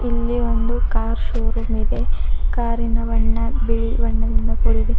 ಇಲ್ಲಿ ಒಂದು car showroom ಇದೆ ಕಾರಿನ ಬಣ್ಣ ಬಿಳಿ ಬಣ್ಣದಿಂದ ಕೂಡಿದೆ.